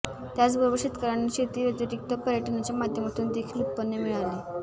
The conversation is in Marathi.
त्याचबरोबर शेतकऱ्यांना शेती व्यतिरिक्त पर्यटनाच्या माध्यमातून देखील उत्पन्न मिळेल